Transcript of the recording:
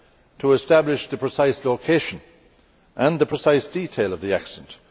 to establish the precise location and the precise detail of the accident.